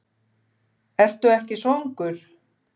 Ertu ekki svangur?